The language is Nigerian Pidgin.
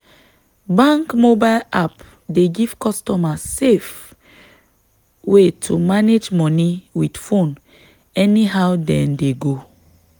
bank mobile app dey give customer safe way to manage money with phone any how them dey go.